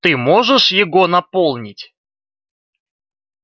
ты можешь его наполнить